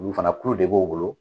Olu fana kulu de b'u bolo